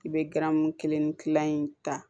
I bɛ garamu kelen ni kila in ta